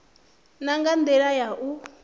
na nga ndila ya u